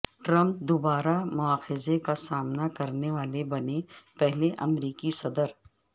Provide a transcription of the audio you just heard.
Trump دو بار مواخذے کا سامنا کرنے والے بنے پہلے امریکی صدر